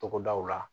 Togodaw la